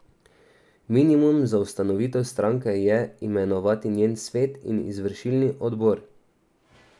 Minimum za ustanovitev stranke je imenovati njen svet in izvršilni odbor.